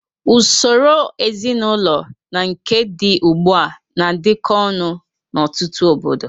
Usoro ezinaụlọ na nke dị ugbu a na-adịkọ ọnụ n'ọtụtụ obodo.